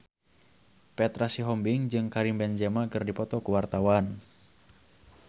Petra Sihombing jeung Karim Benzema keur dipoto ku wartawan